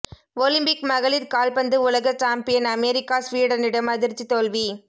Olympic மகளிர் கால்பந்து உலக சாம்பியன் அமெரிக்கா ஸ்வீடனிடம் அதிர்ச்சி தோல்வி